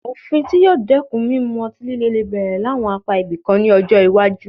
Òfin tí yóò dẹ́kun mímu ọtí lílè lè bẹ̀rẹ̀ láwọn apá ibìkan ní ọjọ́ iwájú